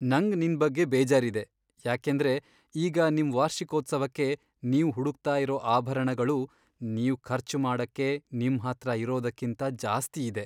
ನಂಗ್ ನಿನ್ ಬಗ್ಗೆ ಬೇಜಾರಿದೆ ಯಾಕೆಂದ್ರೆ ಈಗ ನಿಮ್ ವಾರ್ಷಿಕೋತ್ಸವಕ್ಕೆ ನೀವ್ ಹುಡುಕ್ತಾ ಇರೋ ಆಭರಣಗಳು ನೀವ್ ಖರ್ಚು ಮಾಡಕ್ಕೆ ನಿಮ್ ಹತ್ರ ಇರೋದಕ್ಕಿಂತ್ ಜಾಸ್ತಿ ಇದೆ.